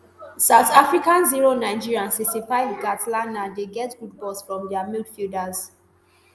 south africa zero nigeria sixty-five kgatlana dey get good balls from dia midfielders